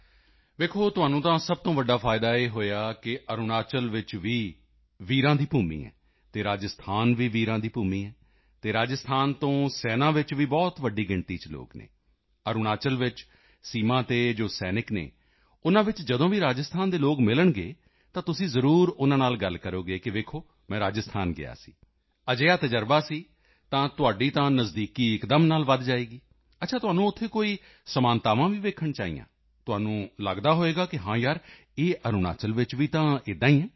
ਦੇਖੋ ਤੁਹਾਨੂੰ ਤਾਂ ਸਭ ਤੋਂ ਵੱਡਾ ਫਾਇਦਾ ਇਹ ਹੋਇਆ ਕਿ ਅਰੁਣਾਚਲ ਵਿੱਚ ਵੀ ਵੀਰਾਂ ਦੀ ਭੂਮੀ ਹੈ ਅਤੇ ਰਾਜਸਥਾਨ ਵੀ ਵੀਰਾਂ ਦੀ ਭੂਮੀ ਹੈ ਅਤੇ ਰਾਜਸਥਾਨ ਤੋਂ ਸੈਨਾ ਵਿੱਚ ਵੀ ਬਹੁਤ ਵੱਡੀ ਗਿਣਤੀ ਚ ਲੋਕ ਹਨ ਅਰੁਣਾਚਲ ਵਿੱਚ ਸੀਮਾ ਤੇ ਜੋ ਸੈਨਿਕ ਹਨ ਉਨ੍ਹਾਂ ਵਿੱਚ ਜਦੋਂ ਵੀ ਰਾਜਸਥਾਨ ਦੇ ਲੋਕ ਮਿਲਣਗੇ ਤਾਂ ਤੁਸੀਂ ਜ਼ਰੂਰ ਉਨ੍ਹਾਂ ਨਾਲ ਗੱਲ ਕਰੋਗੇ ਕਿ ਦੇਖੋ ਮੈਂ ਰਾਜਸਥਾਨ ਗਿਆ ਸੀ ਅਜਿਹਾ ਤਜ਼ਰਬਾ ਸੀ ਤਾਂ ਤੁਹਾਡੀ ਤਾਂ ਨਜ਼ਦੀਕੀ ਇੱਕਦਮ ਨਾਲ ਵਧ ਜਾਏਗੀ ਅੱਛਾ ਤੁਹਾਨੂੰ ਉੱਥੇ ਕੋਈ ਸਮਾਨਤਾਵਾਂ ਵੀ ਵੇਖਣ ਵਿੱਚ ਆਈਆਂ ਤੁਹਾਨੂੰ ਲੱਗਦਾ ਹੋਵੇਗਾ ਕਿ ਹਾਂ ਯਾਰ ਇਹ ਅਰੁਣਾਚਲ ਵਿੱਚ ਵੀ ਤਾਂ ਇੰਝ ਹੀ ਹੈ